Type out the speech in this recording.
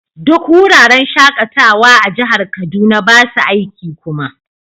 Duk wuraren shakatawa a jihar Kaduna ba su aiki kuma.